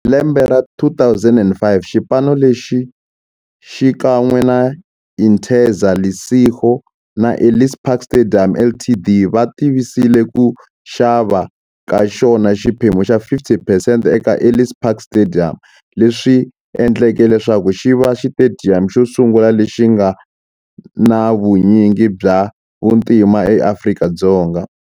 Hi lembe ra 2005, xipano lexi, xikan'we na Interza Lesego na Ellis Park Stadium Ltd, va tivise ku xava ka xona xiphemu xa 50 percent eka Ellis Park Stadium, leswi endleke leswaku xiva xitediyamu xo sungula lexi nga na vunyingi bya vantima eAfrika-Dzonga.